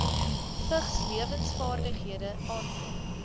vigslewensvaardighede aanklop